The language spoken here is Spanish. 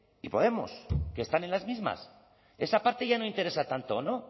y podemos que están en las mismas esa parte ya no interesa tanto no